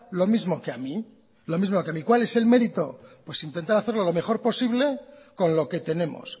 lo mismo que a mí cuál es el mérito pues intentar hacer lo mejor posible con lo que tenemos